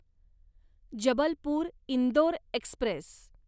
Jabalpur Indore Express